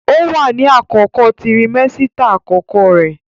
Ó wà ní àkókò tirimẹ́sítà àkọ́kọ́ rẹ̀